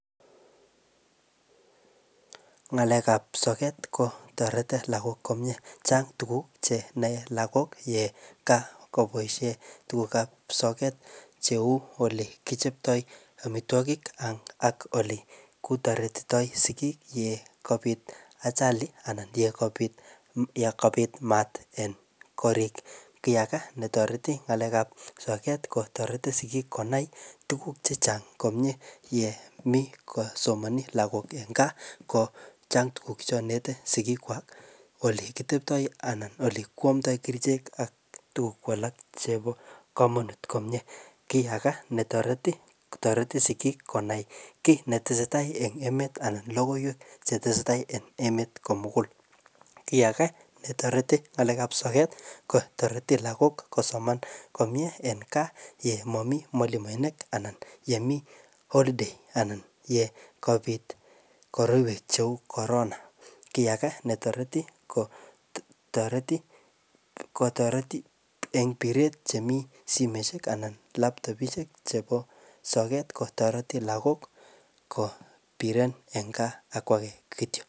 ngalekab soket ii kotoreti lagok komye chang tuguk chenoe lagok yekoboishen tuguk ab soketcheu ole kichopto amitwokik ak elekitoretito sigiik yekabit achali yonkabit maat en korik kiyagee netoroti ngalek ab soket ii kotoreti sigiik konai tuguk chechang komye yemi kosomoni logok en gaa kochang tuguk cheinet sigik kwak ole kiteptoi ak kikwongdoi kerichek ak tuguk alak chepo komonut komie kii agee netoroti kotoreti sigik konai kit netesetai en emet anan logoiwek chetesetai en emet komugul kii agee netoreti ngale ab soket kotoreti lagok kosomonan komie en kaa yemomi mwalimuenik anan yemi olidei anan yekobit korotwek cheu korona kii agee netoreti kotoreti en piret chemi simeishek anan labtopishek chepo soket kotoreti lagok kopiren en kaa akwo kitiok